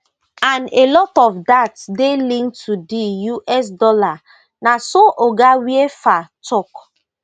and a lot of dat dey linked to di us dollar na so oga weafer tok